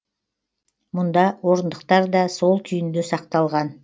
мұнда орындықтар да сол күйінде сақталған